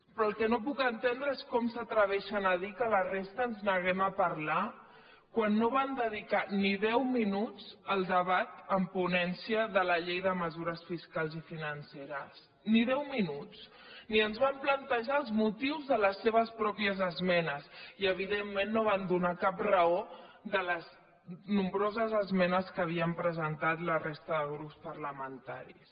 però el que no puc entendre és com s’atreveixen a dir que la resta ens neguem a parlar quan no van dedicar ni deu minuts al debat en ponència de la llei de mesures fiscals i financeres ni deu minuts ni ens van plantejar els motius de les seves pròpies esmenes i evidentment no van donar cap raó de les nombroses esmenes que havien presentat la resta de grups parlamentaris